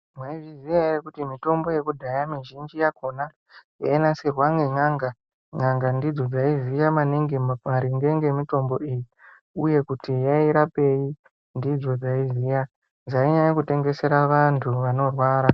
Mwaizviziya ere kuti mitombo yekudhaya mizhinji yakona yainasirwa nen'anga n'anga ndidzo dzaiziya maningi maringe ngemitombo iyi uye kuti yairapei ndidzo dzaiziya dzainyanya kutengesera vanthu vanorwara.